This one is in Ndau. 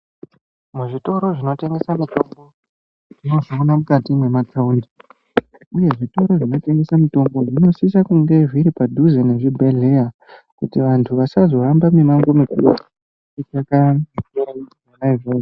Zvitoro zvinotengesa mitombo tinozviona mukati mwemathaundi uye zvitoro zvinotengese mitombo zvinosisa kunge zviri padhuze nezvibhedhleya kuti vantu vasazohambe mimango mikuru veitsvake zvitoro zvona izvozvo.